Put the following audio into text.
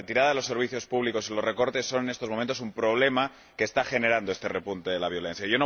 Y la supresión de los servicios públicos y los recortes son, en estos momentos, un problema que está generando este repunte de la violencia.